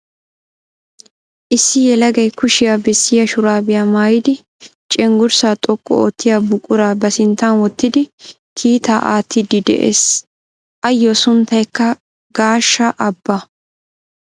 Issi yelagay kushiya bessiya shuraabiya maayidi cenggurssaa xoqqu oottiya buquraa ba sinttan wottidi kiittaa aattiiddi de'ees s. Ayyo sunttayikka Gashaa Aba.